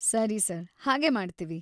ಸರಿ ಸರ್‌, ಹಾಗೇ ಮಾಡ್ತೀವಿ.